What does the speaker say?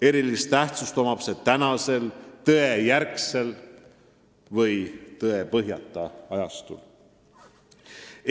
Eriti tähtis on see praegusel tõejärgsel või tõepõhjata ajastul.